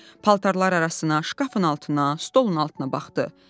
Paltarlar arasına, şkafın altına, stolun altına baxdı.